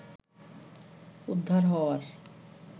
উদ্ধার হওয়ার